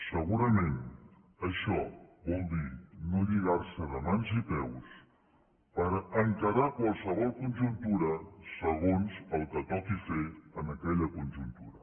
segurament això vol dir no lligar se de mans i peus per encarar qualsevol conjuntura segons el que toqui fer en aquella conjuntura